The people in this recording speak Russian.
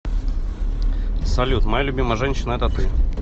салют моя любимая женщина это ты